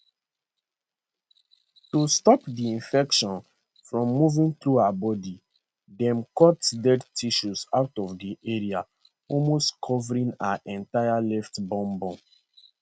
to stop di infection from moving through her body dem cut dead tissue out of di area almost covering her entire left bum bum